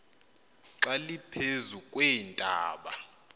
xa liphezu kweentaba